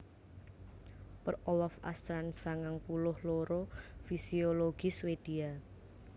Per Olof Åstrand sangang puluh loro fisiologis Swédia